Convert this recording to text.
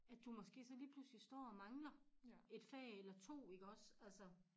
At du måske så lige pludselig står og mangler et fag eller 2 iggås altså